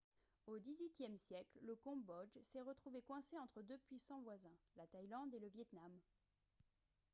au xviiie siècle le cambodge s'est retrouvé coincé entre deux puissants voisins la thaïlande et le vietnam